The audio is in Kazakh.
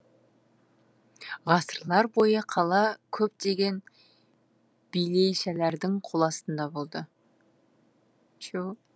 ғасырлар бойы қала көптеген билейшәлердің қол астында болды